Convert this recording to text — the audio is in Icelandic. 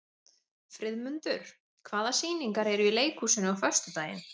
Friðmundur, hvaða sýningar eru í leikhúsinu á föstudaginn?